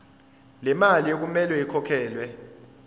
lemali okumele ikhokhelwe